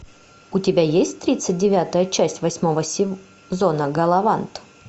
у тебя есть тридцать девятая часть восьмого сезона галавант